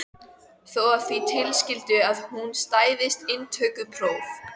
Þó að því tilskildu að hún stæðist inntökupróf.